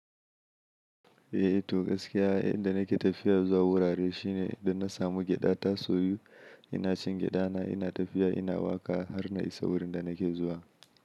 Eh, to gaskiya, inda nake tafiya zuwa wurare shine idan na samu gyaɗa ta soyu, ina cin gyaɗa na ina tafiya ina waƙa har na isa wurin da nake zuwa.